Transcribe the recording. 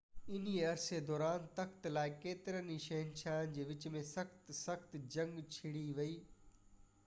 انهي عرصن دوران تخت لاءِ ڪيترن ئي شهنشاهن جي وچ ۾ سخت سخت جنگ ڇڙي وئي